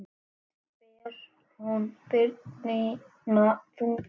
Létt ber hún byrðina þungu.